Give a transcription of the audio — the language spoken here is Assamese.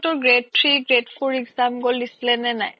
grade three grade four exam গ্'ল দিছিলে নে নাই